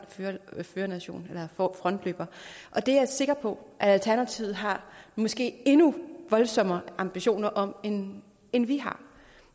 førernation eller frontløber og det er jeg sikker på at alternativet har måske endnu voldsommere ambitioner om end end vi har